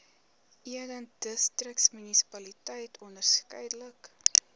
eden distriksmunisipaliteit onderskeidelik